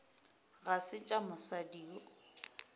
ga se tša mosadi yo